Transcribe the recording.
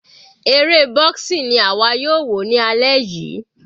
Eré boxing ni àwa yóò wò ní alẹ́ yìí.